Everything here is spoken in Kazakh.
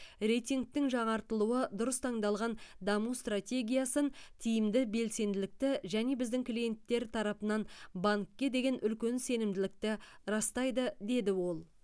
рейтингтің жаңартылуы дұрыс таңдалған даму стратегиясын тиімді белсенділікті және біздің клиенттер тарапынан банкке деген үлкен сенімділікті растайды деді ол